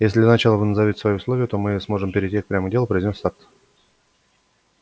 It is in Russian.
если для начала вы назовёте свои условия то мы сможем перейти прямо к делу произнёс сатт